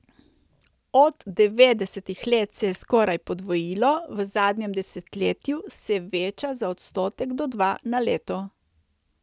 Od devetdesetih let se je skoraj podvojilo, v zadnjem desetletju se veča za odstotek do dva na leto.